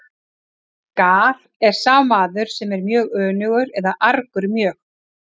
Gar er sá maður sem er önugur eða argur mjög.